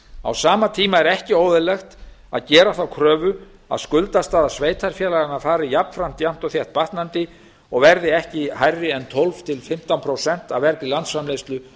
á sama tíma er ekki óeðlilegt að gera þá kröfu að skuldastaða sveitarfélaganna fari jafnframt jafnt og þétt batnandi og verði ekki hærri en tólf til fimmtán prósent af vergri landsframleiðslu